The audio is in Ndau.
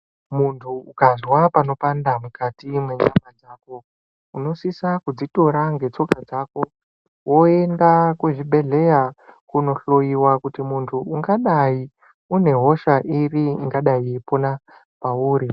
Muntu ukazwa panopanda mukati menyama dzako unosisa kudzitora ngetsoka dzako voenda kuzvibhedhleya kunohloiwa. Kuti muntu unga dai unehosha iri ingadai yeipona pauri.